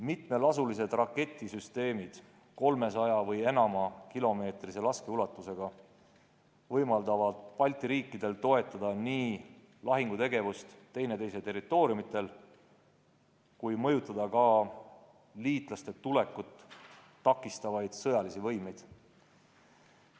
Mitmelasulised raketisüsteemid 300-kilomeetrise või enam laskeulatusega võimaldavad Balti riikidel toetada nii lahingutegevust üksteise territooriumidel kui ka mõjutada liitlaste tulekut takistavaid sõjalisi võimeid.